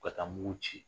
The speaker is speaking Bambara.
Ka taa mugu ci